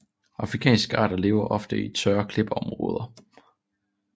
Afrikanske arter lever ofte i tørre klippeområder